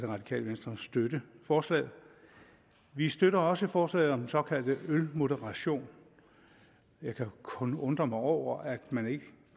radikale venstre støtte forslaget vi støtter også forslaget om den såkaldte ølmoderation jeg kan kun undre mig over at man ikke